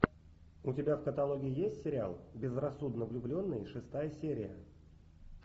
у тебя в каталоге есть сериал безрассудно влюбленные шестая серия